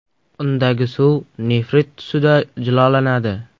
Undagi suv nefrit tusida jilolanadi.